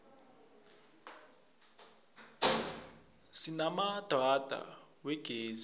sinamadrada wegezi